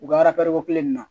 U ka ko kelen in na